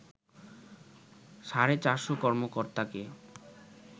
সাড়ে চারশ কর্মকর্তাকে